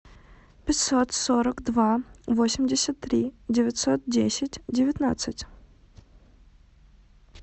пятьсот сорок два восемьдесят три девятьсот десять девятнадцать